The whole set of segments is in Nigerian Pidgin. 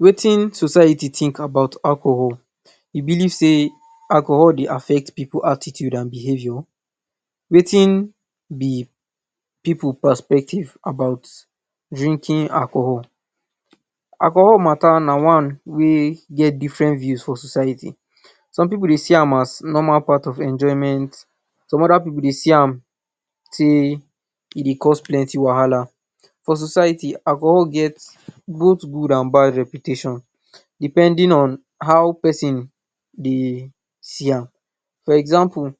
Wetin society think about alcohol? E believe dey alcohol dey affect Pipu attitude and behavior, Wetin b pipu perspective about drinking alcohol? Alcohol matter na Wetin get different views for society, some pipu dey see am as normal part of enjoyment, some oda pipu dey see am sey e dey cause plenty wahala, for Societu alcohol get both good and bad reputation, depending on how persin, dey see am for example,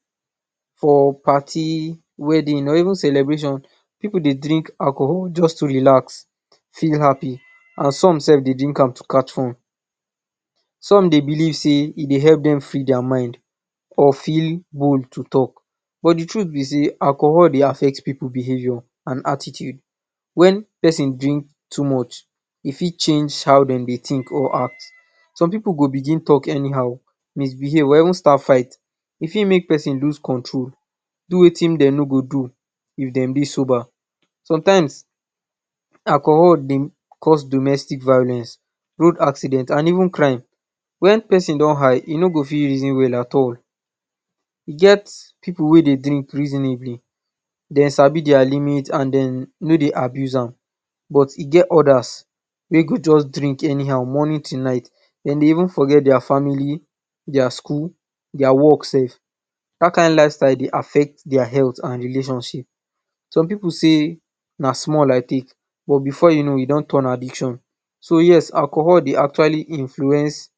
for party, wedding or even celebration pipu dey drink alcohol just to relax feel happy and some sef dey drink am to catch fun, some dey believe dey e dey help dem free dia mind or feel whole to talk, but de truth be sey alcohol dey affect pipu behavior and attitude, wen persin drink too much e for change how dem dey think or act, some pipu go begin talk anyhow, misbehave or even start fight e fit make person loose control, do Wetin dem no go do if dem dey sober, sometimes alcohol dey cause domestic violence, road accident or even crime. When persin don high he no go for reason well at all, e get pipu wey dey drink reasonably dem sabi dia limit and dem no dey abuse am, but e get ida wey go just drink anyhow morning to night dem dey even forget dis family dia school dis work sef, dat kind lifestyle dey affect dis health and relationship, some pipu sey na small I take but before u know e don tirn addiction, so yes alcohol dey actually influence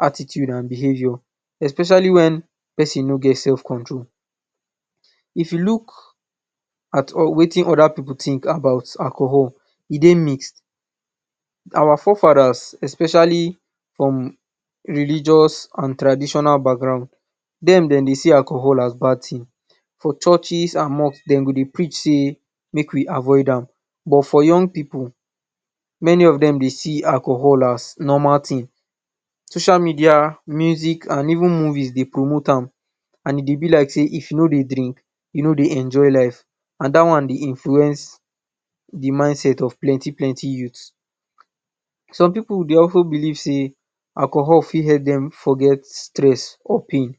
attitude and behavior, especially wen persin no get self control, if I look at Wetin oda pipu think about alcohol, e dey mixed, our forefathers especially from religious and traditional background dem dem dey see alcohol as bad thing, for churches and mosque dem go dey preach dey make we avoid an but for you d pipu many of dem dey see alcohol as normal thing, social media, movies and even music dey promote am and e dey b like sey if u no dey drink u ni dey enjoy life and dat one dey influence de mind set of plenty youths, some pipu dey also believe sey alcohol fit help dem forget stress or pain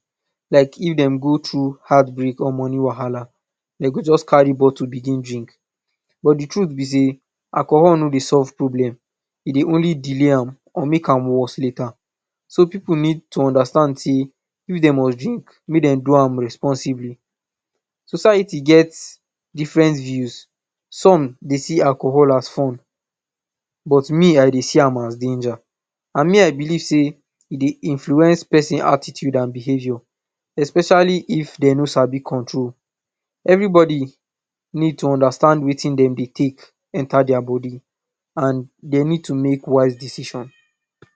like if dem go thru heart break ir money wahala dem go just carry bottle begin drink, but de truth be sey alcohol no dey solve problem e dey only delay an or make an worse later, so pipu need to understand sey if dem must drink make dem do am responsibly, society get different views, some dey see alcohol as fun but me I dey see am as danger and me I believe sey e dey influence persin attitude and behavior especially if dem no sabi control, everybody need to understand Wetin dem dey take enter dia body and dem need to make wise decision.